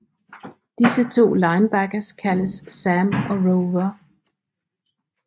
Disse to linebackers kaldes Sam og Rover